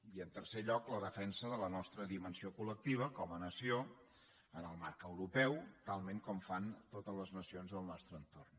i en tercer lloc la defensa de la nostra dimensió colmarc europeu talment com fan totes les nacions del nostre entorn